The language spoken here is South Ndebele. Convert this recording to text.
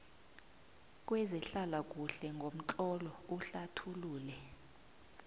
kwezehlalakuhle ngomtlolo uhlathulule